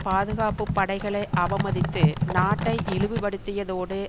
பாதுகாப்பு படைகளை அவமதித்து நாட்டை இழிவுபடுத்தியதோடு